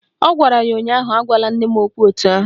Ọ gwara ya ụnyaahụ " Agwala nne m okwu etu ahụ"!